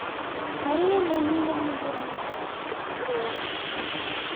мария леонидовна бурмистрова